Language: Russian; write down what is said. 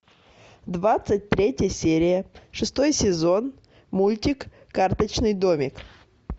двадцать третья серия шестой сезон мультик карточный домик